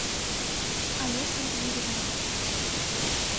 олесей юрьевной